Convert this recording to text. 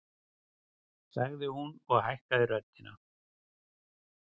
sagði hún og hækkaði röddina.